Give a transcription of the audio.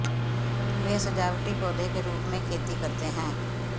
वे सजावटी पौधे के रूप में खेती करते हैं